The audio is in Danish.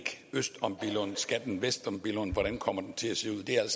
øst om billund skal den vest om billund hvordan kommer den til at se ud det er alt